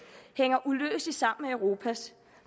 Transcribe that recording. hænger uløseligt sammen med europas